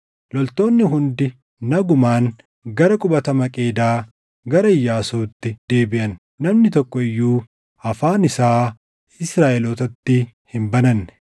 Loltoonni hundi nagumaan gara qubata Maqeedaa gara Iyyaasuutti deebiʼan; namni tokko iyyuu afaan isaa Israaʼelootatti hin bananne.